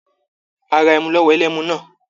A ra ẹmu lọ́wọ́ ẹlẹ́mu náà.